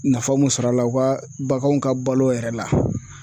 Nafa mun sɔrɔ a la u ka baganw ka balo yɛrɛ la.